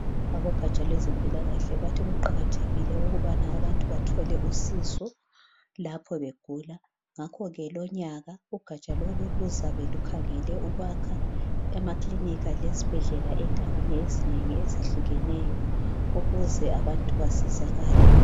abogaja lwezempilakahle bathi kuqakathekile ukubana abantu bathole usizo lapho begula ngakho ke lonyaka ugaja lolu luzabe lukhangelele ukwakha amakilinika lezibhedlela endaweni ezinengi ezehlukeneyo ukuze abantu basizakale